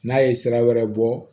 N'a ye sira wɛrɛ bɔ